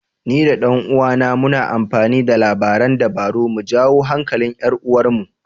Ni da ɗan uwana muna amfani da labaran dabara mu jawo hankalin 'yar uwarmu.